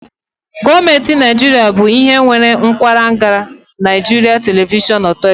Gọọmenti Naijiria bụ ihe nwe akwaranga Nigeria Television Authority